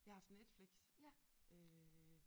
Jeg har haft Netflix øh